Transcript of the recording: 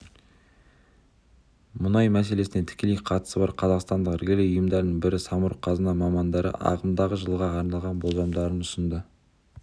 мұнай мәселесіне тікелей қатысы бар қазақстандық іргелі ұйымдардың бірі самұрық-қазына мамандары ағымдағы жылға арналған болжамдарын ұсынды